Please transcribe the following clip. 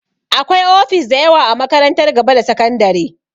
Akwai ofis dayawa a makarantar gaba da sakandare